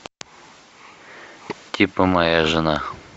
типо моя жена